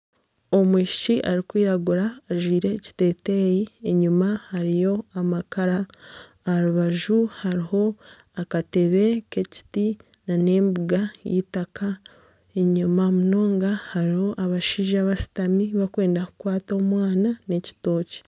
Omwishiki arikwiragura ajwire ekiteteyi enyima hariyo amakara aha rubaju hariho akatebe k'ekiti n'embuga y'eitaka enyima munonga hariho abashaija bashutami bakwenda kukwata omwana n'ekitookye.